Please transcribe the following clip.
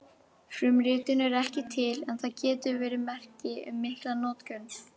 Frumritin eru ekki til en það getur verið merki um mikla notkun.